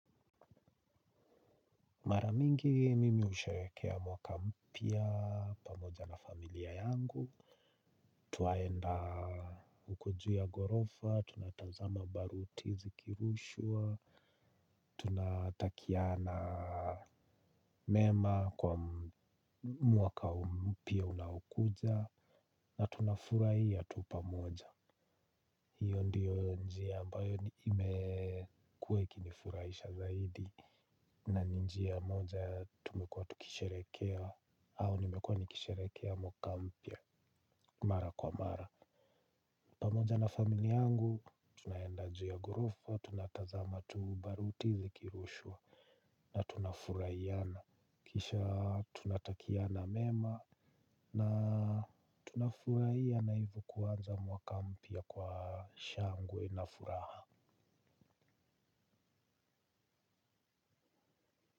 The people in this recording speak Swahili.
Maramingi mimi husherehekea mwaka mpya pamoja na familia yangu, tunaenda uko juu ya ghorofa, tunatazama baruti zikirushwa, tunatakiana mema kwa mwaka mpya unaokuja, na tunafurahia tu pamoja. Hiyo ndiyo njia ambayo nimekuwa ikinifurahisha zaidi. Na njia moja tumekuwa tukisherehekea au nimekuwa nikisherehekea mwaka mpya. Mara kwa mara pamoja na family yangu tunaenda juu ya ghorofa. Tunatazama tu baruti zikirushwa. Na tuna furahiana. Kisha tunatakiana mema. Na tuna furahiana hivo kuanza mwaka mpya kwa shangwe na furaha Muzika.